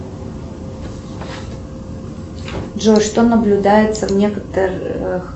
джой что наблюдается в некоторых